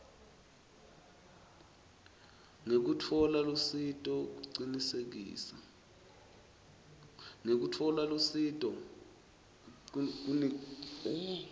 ngekutfola lusito kucinisekisa